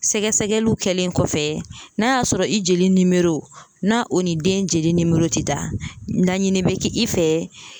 Sɛgɛsɛgɛliw kɛlen kɔfɛ n'a y'a sɔrɔ i jeli nimoro n'a o ni den jeli nimoro tɛ da laɲini bɛ kɛ i fɛ